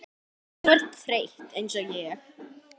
Þú ert þreytt einsog ég.